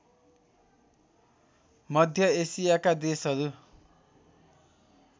मध्य एसियाका देशहरू